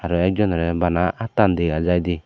tey ekjonorey bana attan dega jaidey.